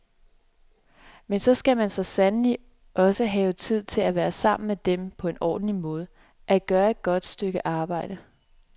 Men så skal man sandelig også have tid til at være sammen med dem på en ordentlig måde, at gøre et godt stykke arbejde.